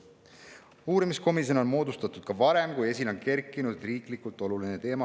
Uurimiskomisjone on moodustatud ka varem, kui esile on kerkinud riiklikult oluline teema.